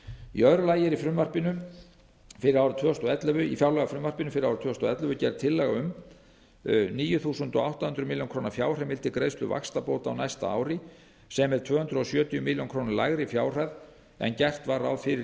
í öðru lagi er í fjárlagafrumvarpinu fyrir árið tvö þúsund og ellefu gerð tillaga um níu þúsund átta hundruð milljóna króna fjárheimild til greiðslu vaxtabóta á næsta ári sem er tvö hundruð sjötíu milljónum króna lægri fjárhæð en gert var ráð fyrir í